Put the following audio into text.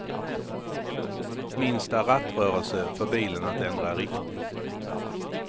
Minsta rattrörelse får bilen att ändra riktning.